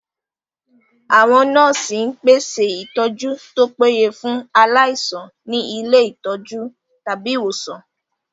Àwọn nọ́ọ̀sì ń pèsè ìtọ́jú tó péye fún aláìsàn ní ilé ìtọ́jú/ ìwòsàn